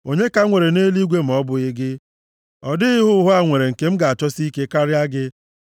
Onye ka m nwere nʼeluigwe ma ọ bụghị gị? Ọ dịghị ihe ụwa a nwere nke m ga-achọsi ike karịa gị.